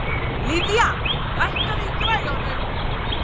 Lydia, lækkaðu í græjunum.